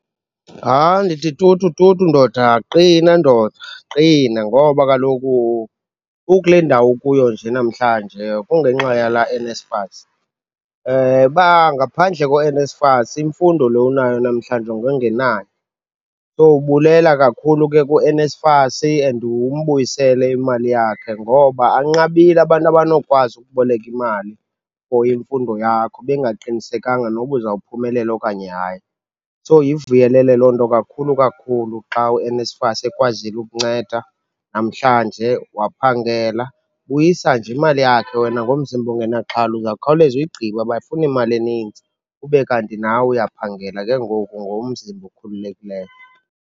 Hayi, ndithi tutu, tutu, ndoda. Qina, ndoda. Qina, ngoba kaloku ukule ndawo ukuyo nje namhlanje kungenxa yalaa NSFAS. Uba ngaphandle kweNSFAS, imfundo lo unayo namhlanje ngowungenayo. So, bulela kakhulu ke kuNSFAS and umbuyisele imali yakhe ngoba anqabile abantu abanokwazi ukuboleka imali for imfundo yakho, bengaqinisekanga noba uzawuphumelela okanye hayi. So, yivuyelele loo nto kakhulu kakhulu xa uNSFAS ekwazile ukunceda namhlanje, waphangela. Buyisa nje imali yakhe wena ngomzimba ungenaxhala. Uzawukhawuleza uyigqibe, abafuni mali eninzi. Ube kanti nawe uyaphangela ke ngoku ngomzimba okhululekileyo.